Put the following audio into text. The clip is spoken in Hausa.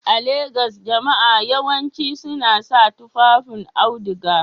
A Legas, jama'a yawanci suna sa tufafin auduga